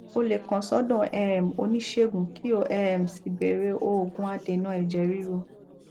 o lè kàn sọdọ um oníṣègùn kí o um sì bẹrẹ òògùn adènà ẹjẹ ríru